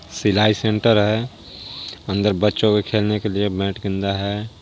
सिलाई सेंटर है अंदर बच्चों के खेलने के लिए बैट गेंदा है।